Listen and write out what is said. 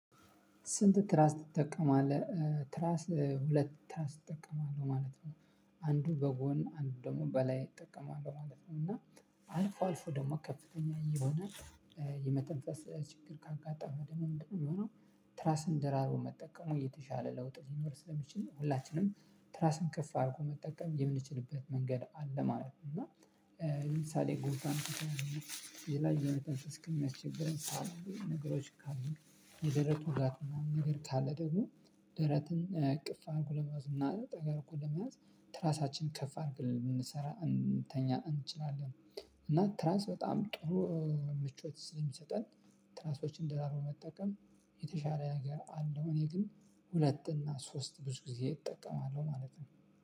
ስንት? ትራስ ትጠቀማለህ ትራስ ሁለት ትራስ እጠቀማለህ ማለት ነው። አንዱ በጎን አንዱ ደግሞ በላይ እጠቀማለሁ ማለት ነው። እና አልፎ አልፎ ደግሞ ከፍተኛ የሆነ የመተንፈስ ችግር ካጋጠመ ደሞ ምንድነው የምንሆነው? ትራስን ደራርቦ መጠቀሙ የተሻለ ለውጥ ሊኖር ስለሚችል ነው። ትራስን ከፍ አድርጎ መጠቀም የምንችልበት መንገድ አለ ማለት ነው። እና ለምሳሌ ጉንፋን ከተያዝን ሌላ የመተንፈስ እስኪያስቸግረን። ነገሮች ካሉ የደረቱ ውጋት ምናምን ነገር ካለ ደግሞ። ደረትን እቅፍ አድርጉ ለመያዝ እና ጠጋ አርጎን ለመያዝ ትራሳችን ከፍ አድርገን የምንሰራ እንተኛ እንችላለን። እና ትራንስ በጣም ጥሩ ምቾት ስለሚሰጠን። ትራሶችን ደራርቦ መጠቀም የተሻለ ነገር አለው። እኔ ግን ሁለት እና ሶስት ብዙ ጊዜ እጠቀማለሁ ማለት ነው።